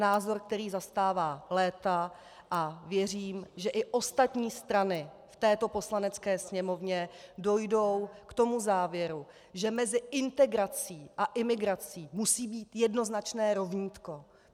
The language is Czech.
Názor, který zastává léta, a věřím, že i ostatní strany v této Poslanecké sněmovně dojdou k tomu závěru, že mezi integrací a imigrací musí být jednoznačné rovnítko.